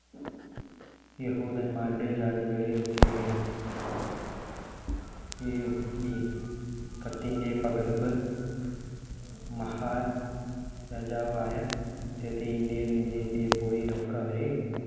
യഹൂദന്മാരുടെ ജാതികളെ ഒക്കെയും ഈ കത്തിന്‍ടെ പകർപ്പ് മഹാരാജാവായ ഇന്ത്യയിൽ നിന്ന് എത്തിപ്പോയേക്കവര്